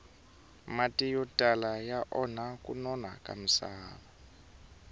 mati yo tala ya onha kunona ka misava